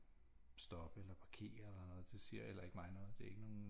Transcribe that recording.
Stoppe eller parkere eller noget det siger heller ikke mig noget det er ikke nogen